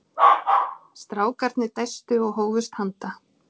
Strákarnir dæstu og hófust handa.